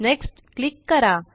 next click करा